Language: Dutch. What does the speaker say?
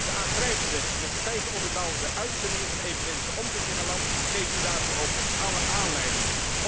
De aangrijpende, met feiten onderbouwde uitzendingen van de evangelische omroep in mijn land geven u daartoe ook alle aanleiding.